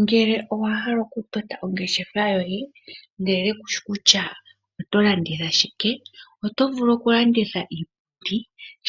Ngele owa hala oku tota ongeshefa yoye ndele kushi kutya oto landitha shike, oto vulu oku landitha iipundi